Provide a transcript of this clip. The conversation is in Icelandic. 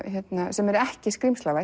sem er ekki